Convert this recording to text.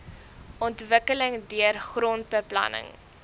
ontwikkeling deur grondbeplanning